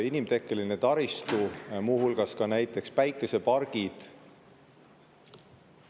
Inimtekkeline taristu, muu hulgas ka näiteks päikesepargid …